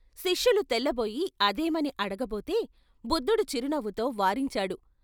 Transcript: శిష్యులు తెల్లబోయి "అదేమని" అడగబోతే బుద్ధుడు చిరునవ్వుతో వారించాడు.